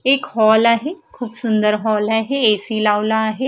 एक हॉल आहे खूप सुंदर हॉल आहे ए_सी लावला आहे.